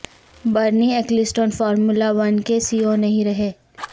برنی Ecclestone formula one کے C E O نہیں رہے